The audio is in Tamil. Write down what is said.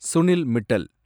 சுனில் மிட்டல்